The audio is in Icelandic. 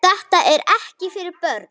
Þetta er ekki fyrir börn.